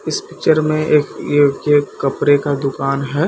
इस पिक्चर में एक ये एक कपड़े का दुकान है।